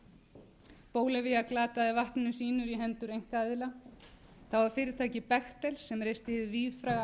glataði vatninu sínu í hendur einkaaðila það var fyrirtækið bechtel sem reisti hið víðfræga álver í